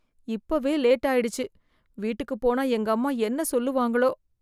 இப்பவே லேட் ஆயிடுச்சு வீட்டுக்கு போன எங்க அம்மா என்ன சொல்லுவாங்களோ?